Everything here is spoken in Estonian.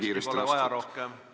Lisateksti pole rohkem vaja.